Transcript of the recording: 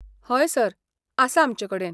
हय सर, आसा आमचे कडेन.